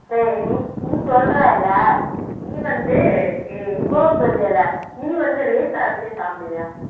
நீ நீ சொல்றேல்ல நீ வந்து இவ்ளோ சொல்றேல்ல நீ வந்து ration அரிசியை சாப்பிடுவியா